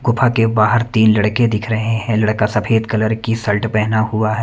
गुफा के बाहर तीन लड़के दिख रहे हैं लड़का सफेद कलर की शर्ट पेहना हुआ है।